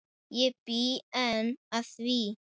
Ég bý enn að því.